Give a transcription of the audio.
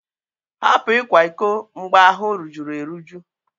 Hapụ ịkwa iko mgbe ahụ rujuru eruju!